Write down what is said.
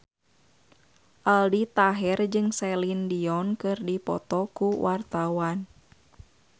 Aldi Taher jeung Celine Dion keur dipoto ku wartawan